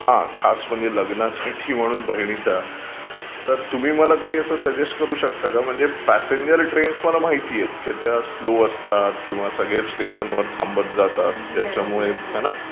हा खास म्हणजे लग्नासाठी म्हणून बहिणीच्या. तर तुम्ही काही सजेस्ट करू शकता का म्हणजे प्यासेंजर ट्रेन्स मला माहीत आहेत की त्या स्लो असतात किंवा सगळ्या स्टेशन्स वर थांबत जातात.